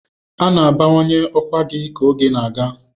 A na-abawanye ọkwa gị ka oge na-aga.